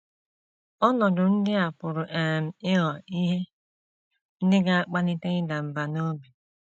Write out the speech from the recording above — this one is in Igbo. Ọnọdụ ndị a pụrụ um ịghọ ihe ndị ga - akpalite ịda mbà n’obi.